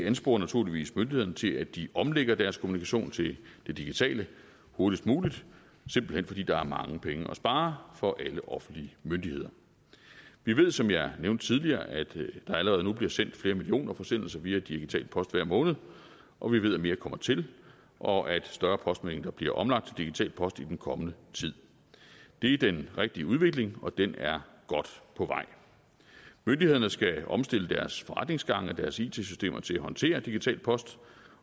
ansporer naturligvis myndighederne til at de omlægger deres kommunikation til det digitale hurtigst muligt simpelt hen fordi der er mange penge at spare for alle offentlige myndigheder vi ved som jeg nævnte tidligere at der allerede nu bliver sendt flere millioner forsendelser via digital post hver måned og vi ved at mere kommer til og at større postmængder bliver omlagt digital post i den kommende tid det er den rigtige udvikling og den er godt på vej myndighederne skal omstille deres forretningsgange og deres it systemer til at håndtere digital post